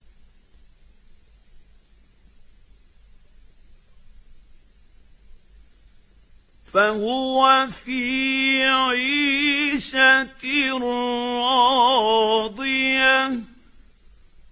فَهُوَ فِي عِيشَةٍ رَّاضِيَةٍ